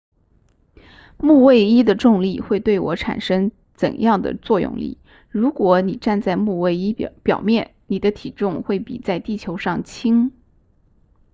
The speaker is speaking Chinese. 木卫一的重力会对我产生怎样的作用力如果你站在木卫一表面你的体重会比在地球上轻